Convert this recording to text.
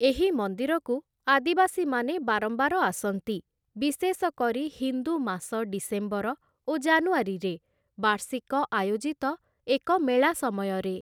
ଏହି ମନ୍ଦିରକୁ ଆଦିବାସୀମାନେ ବାରମ୍ବାର ଆସନ୍ତି, ବିଶେଷକରି ହିନ୍ଦୁ ମାସ ଡିସେମ୍ବର ଓ ଜାନୁଆରୀରେ ବାର୍ଷିକ ଆୟୋଜିତ ଏକ ମେଳା ସମୟରେ ।